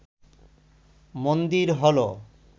মন্দির হল